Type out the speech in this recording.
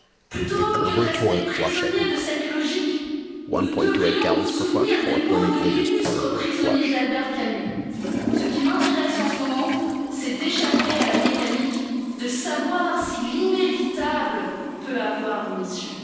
encore. Plutôt que de rester prisonniers de cette logique, nous devrions nous souvenir des mots de l'illustre prisonnier d'Albert Camus ce qui m'intéresse en ce moment, c'est d'échapper à la mécanique, de savoir si l'inévitable peut avoir